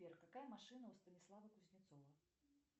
сбер какая машина у станислава кузнецова